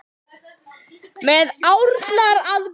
Með árnar að brún.